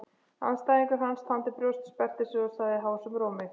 Andstæðingur hans þandi brjóst, sperrti sig og sagði hásum rómi